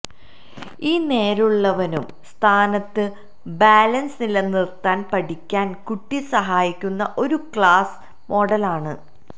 ഈ നേരുള്ളവനും സ്ഥാനത്ത് ബാലൻസ് നിലനിർത്താൻ പഠിക്കാൻ കുട്ടി സഹായിക്കുന്ന ഒരു ക്ലാസിക് മോഡൽ ആണ്